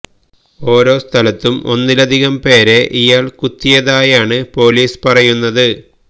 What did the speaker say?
ഓരോ സ്ഥലത്തും ഒന്നിലധികം പേരെ ഇയാൾ കുത്തിയതായാണ് പൊലീസ് പറയുന്നത്